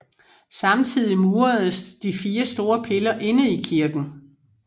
Samtidig muredes de fire store piller inde i kirken